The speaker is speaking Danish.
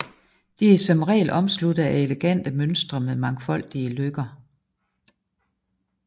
De er som regel omsluttede af elegante mønstre med mangfoldige løkker